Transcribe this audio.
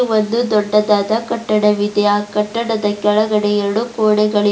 ಒಂದು ದೊಡ್ಡದಾದ ಕಟ್ಟಡವಿದೆ ಆ ಕಟ್ಟಡದ ಕೆಳಗೆ ಎರಡು ಗೋಡಗ --